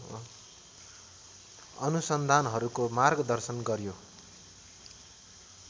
अनुसन्धानहरूको मार्गदर्शन गर्‍यो।